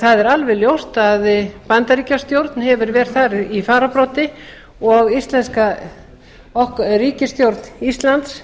það er alveg ljóst að bandaríkjastjórn hefur verið þar í fararbroddi og ríkisstjórn íslands